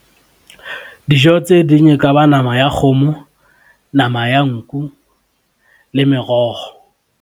Dijo tse ding e ka ba nama ya kgomo, nama ya nku le meroho.